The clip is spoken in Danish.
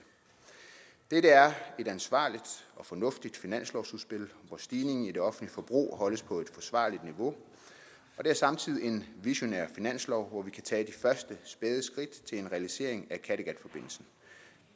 dette er et ansvarligt og fornuftigt finanslovsudspil hvor stigningen i det offentlige forbrug holdes på et forsvarligt niveau og det er samtidig en visionær finanslov hvor vi kan tage de første spæde skridt til en realisering af kattegatforbindelsen